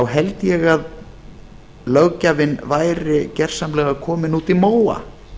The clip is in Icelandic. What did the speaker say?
held ég að löggjafinn væri gjörsamlega kominn út í móa